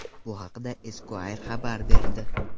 Bu haqda Esquire xabar berdi .